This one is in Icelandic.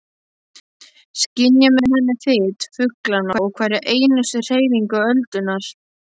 Skynja með henni þyt fuglanna og hverja einustu hreyfingu öldunnar.